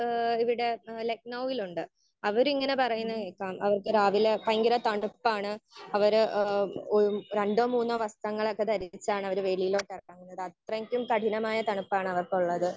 Speaker 1 ഏഹ് ഇവിടെ ഏഹ് ലക്നൗവിലുണ്ട്. അവര് ഇങ്ങനെ പറയുന്നത് അവർക്ക് രാവിലെ ഭയങ്കര തണുപ്പാണ്. അവര് ഒരു രണ്ടോ മൂന്നോ വസ്ത്രങ്ങൾ ഒക്കെ ദരിച്ചാണ് അവർ വെളിയിലോട്ട് ഇറങ്ങുന്നതെന്ന് അത്രക്കും കഠിനമായ തണുപ്പാണ് അവർക്കുള്ളത്.